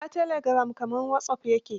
Shi ma telegiram kamar wasop ya ke.